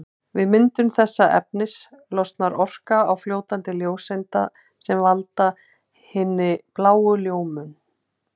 Við myndun þessa efnis losnar orka á formi ljóseinda sem valda hinni bláu ljómun.